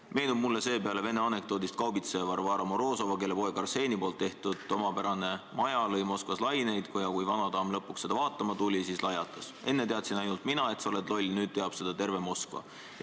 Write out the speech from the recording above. Meenub mulle see peale vene anekdoodist kaubitseja Varvara Morozova, kelle poeg Arseni poolt ehitatud omapärane maja lõi Moskvas laineid ja kui vanadaam lõpuks seda vaatama tuli, siis lajatas: "Enne teadsin ainult mina, et sa loll oled, nüüd teab seda terve Moskva!